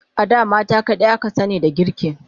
A da mata kadai aka sani da girki